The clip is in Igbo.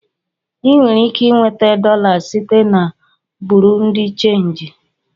Ị nwere ike nweta dolas site na Buru di chenji